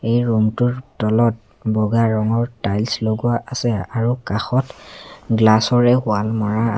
এই ৰুম টোৰ তলত বগা ৰঙৰ টাইলছ লগোৱা আছে আৰু কাষত গ্লাচ ৰে ৱাল মৰা আ--